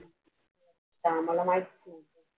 ते आम्हाला माहित नाही.